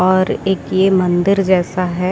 और एक ये मंदिर जैसा है।